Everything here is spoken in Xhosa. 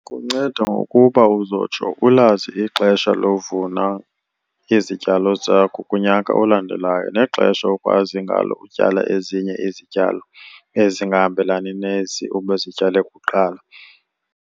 Kunceda ngokuba uzotsho ulazi ixesha lovuna izityalo zakho kunyaka olandelayo nexesha okwazi ngalo ukutyala ezinye izityalo ezingahambelani nezi ubuzityale kuqala.